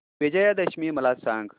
विजयादशमी मला सांग